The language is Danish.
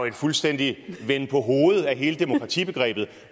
en fuldstændig venden på hovedet af hele demokratibegrebet